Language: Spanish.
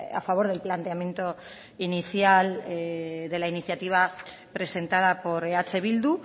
a favor del planteamiento inicial de la iniciativa presentada por eh bildu